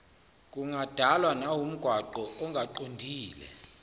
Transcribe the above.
kungadalwa nawumgwaqo ongaqondile